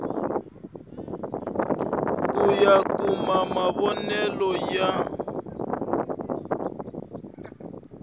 ku ya kuma mavonele ya